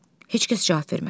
Heç kəs cavab vermədi.